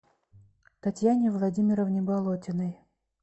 татьяне владимировне болотиной